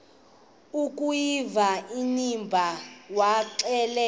akuyiva inimba waxelela